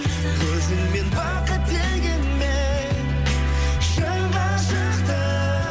өзіңмен бақыт дегенмен шын ғашықтық